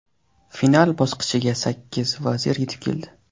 Final bosqichiga sakkiz vazir yetib keldi.